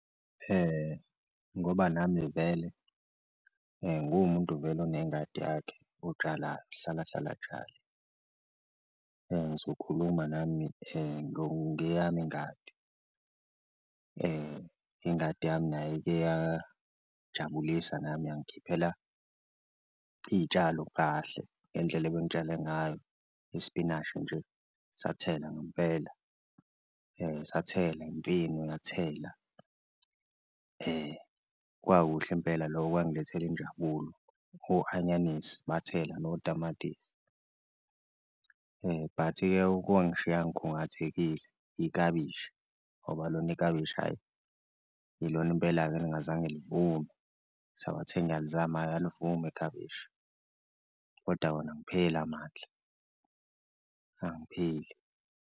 Ngoba nami vele nguwumuntu vele onengadi yakhe otshalayo, ohlalahlale atshale ngizokhuluma nami ngeyami ingadi ingadi yami nayo ikeyajabulisa nami yangikhiphela iy'tshalo kahle ngendlela ebengitshale ngayo, ispinashi nje sathela ngempela sathela, imfino yathela kwakuhle impela loko kwangilethela injabulo, o-anyanisi bathela notamatisi. But-ke okwangishiya ngikhungathekile ikabishi ngoba lona ikabishi ayi ilona impela-ke elingazange livume ngisabathe ngiyalizama alivumi ikabishi koda wona angipheli amandla angipheli.